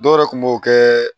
Dɔw yɛrɛ kun b'o kɛ